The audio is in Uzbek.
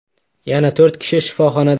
Yana to‘rt kishi shifoxonada.